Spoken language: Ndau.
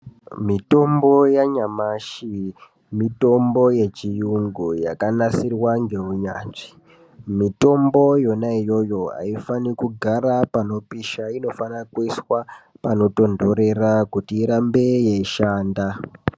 Mitombo yanyamashi mitombo yechirungu yakanasirwa ngeunyanzvi mitombo yona iyoyo aifani kugara pano pisha inofana kuiswa panotonderera kuti irambe yeishanda.